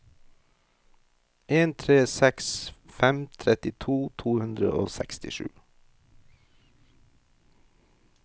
en tre seks fem trettito to hundre og sekstisju